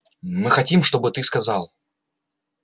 мы хотим чтобы ты сказал